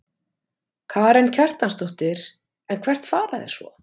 Karen Kjartansdóttir: En hvert fara þeir svo?